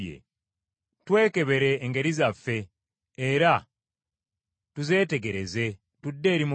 Twekebere engeri zaffe, era tuzeetegereze, tudde eri Mukama .